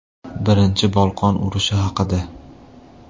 Birinchi Bolqon urushi haqida.